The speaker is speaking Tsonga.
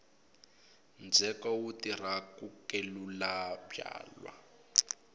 ndzheko wu tirha ku kelula byalwa